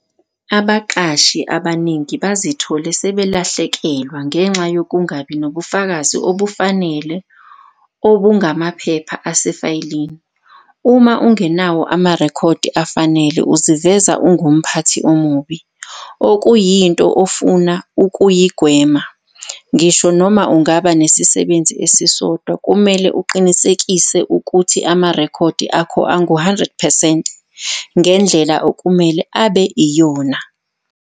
Abaqashi abaningi bazithole sebelahlekelwa ngenxa yokungabi nobufakazi obufanele obungamaphepha asefayelini. Uma ungenawo amarekhodi afanele uziveza ungumphathi omubi, okuyinto ofuna ukuyigwema. Ngisho noma ungaba nesisebenzi esisodwa kumele uqinisekise ukuthi amarekhodi akho angu-100 percent ngendlela okumele abe yiyona.